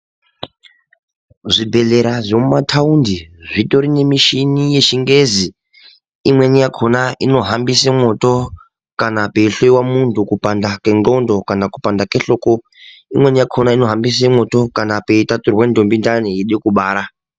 Zvibhedhlera zvemumataundi zvitori nemishini yechingezi. Imweni yakona inohambisa moto kana peihloiwa muntu kupanda kwendxondo kana kupanda kwehloko. Imweni yakona inohambisa mwoto kana peitaturwa ndombi ndani yekubara